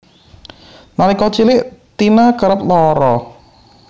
Nalika cilik Tina kerep lara